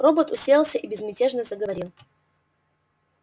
робот уселся и безмятежно заговорил